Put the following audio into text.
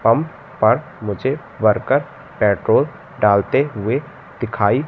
pump पर मुझे worker petrol डालते हुए दिखाई--